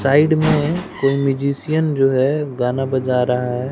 Side में कोई magician जो है गाना बजा रहा हैं।